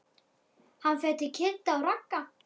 Hann fer til Kidda og Ragga.